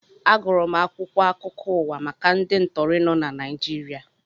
Agụrụ m akwụkwọ akụkọ ụwa maka ndị ntọri nọ na Naịjirịa